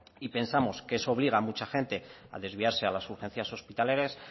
y pensamos que eso obliga a mucha gente a desviarse a las urgencias hospitalarias